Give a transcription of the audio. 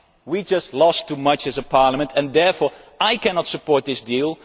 We just lost too much as a parliament, and therefore I cannot support this deal.